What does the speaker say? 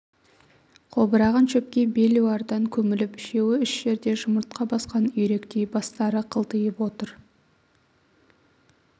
қобыраған шөпке белуардан көміліп үшеуі үш жерде жұмыртқа басқан үйректей бастары қылтиып отыр